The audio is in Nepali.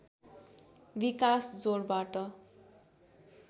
विकास जोडबाट